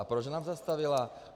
A proč nám zastavila?